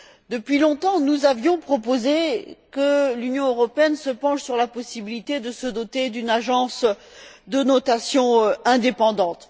Depuis longtemps, nous avions proposé que l'Union européenne se penche sur la possibilité de se doter d'une agence de notation indépendante.